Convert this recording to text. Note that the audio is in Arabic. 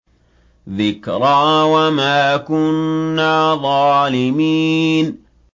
ذِكْرَىٰ وَمَا كُنَّا ظَالِمِينَ